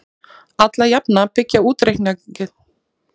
Alla jafna byggja útreikningarnir á einhvers konar verðlagsvísitölu.